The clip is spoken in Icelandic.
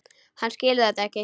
Hann skilur þetta ekki.